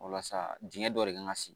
Walasa dingɛn dɔ de kan ka sigi